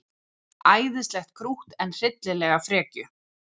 Æðislegt krútt en hryllilega frekju.